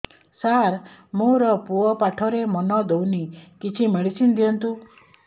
ସାର ମୋର ପୁଅ ପାଠରେ ମନ ଦଉନି କିଛି ମେଡିସିନ ଦିଅନ୍ତୁ